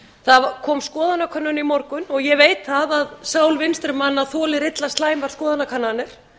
það kom skoðanakönnun í morgun og ég veit að sál vinstri manna þolir illa slæmar skoðanakannanir